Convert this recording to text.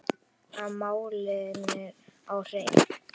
Að fá málin á hreint